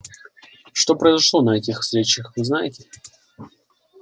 что произошло на этих встречах вы знаете